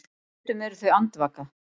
Stundum eru þau andvaka.